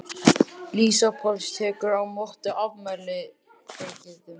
Lísa Páls tekur á móti afmæliskveðjum.